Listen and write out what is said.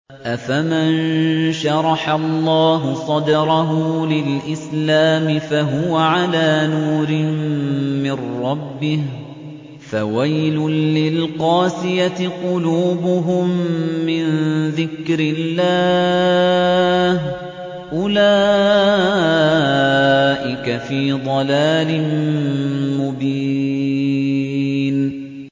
أَفَمَن شَرَحَ اللَّهُ صَدْرَهُ لِلْإِسْلَامِ فَهُوَ عَلَىٰ نُورٍ مِّن رَّبِّهِ ۚ فَوَيْلٌ لِّلْقَاسِيَةِ قُلُوبُهُم مِّن ذِكْرِ اللَّهِ ۚ أُولَٰئِكَ فِي ضَلَالٍ مُّبِينٍ